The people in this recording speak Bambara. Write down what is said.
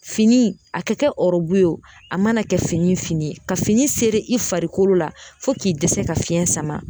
Fini a ka kɛ ɔrɔbu ye o a mana kɛ fini fini ye ka fini sere i farikolo la fɔ k'i dɛsɛ ka fiɲɛ sama